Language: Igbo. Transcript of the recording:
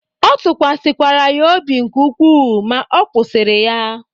Ọ tụkwasịkwara ya obi nke ukwuu, ma ọ kwụsịrị ya